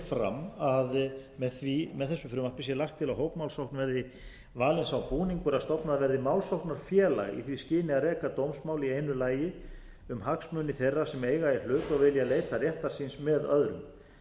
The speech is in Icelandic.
fram að með þessu frumvarpi sé lagt til að hópmálsókn valinn sá búningur að stofnað verði málsóknarfélag í því skyni að reka dómsmál í einu lagi um hagsmuni þeirra sem eiga í hlut og vilja leita réttar síns með öðrum